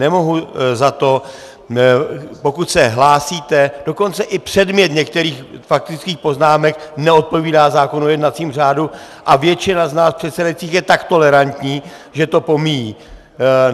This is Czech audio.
Nemohu za to, pokud se hlásíte, dokonce i předmět některých faktických poznámek neodpovídá zákonu o jednacím řádu a většina z nás předsedajících je tak tolerantní, že to pomíjí.